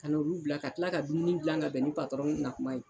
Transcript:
Ka n'olu bila ka kila ka dumuni gilan ka bɛn ni patɔrɔn na kuma ye